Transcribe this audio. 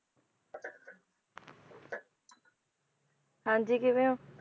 ਹਾਂਜੀ ਕਿਵੇਂ ਹੋ?